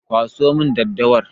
Kwaso min daddawar!